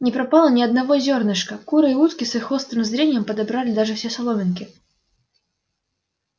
не пропало ни одного зёрнышка куры и утки с их острым зрением подобрали даже все соломинки